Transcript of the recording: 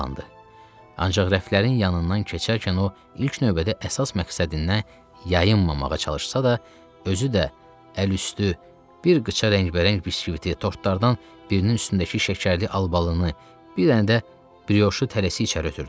Ancaq rəflərin yanından keçərkən o ilk növbədə əsas məqsədindən yayınmamağa çalışsa da, özü də əl üstü bir qıçı rəngbərəng biskvitə, tortlardan birinin üstündəki şəkərli albalını, bir dənə də brioşu tələsi içəri ötürdü.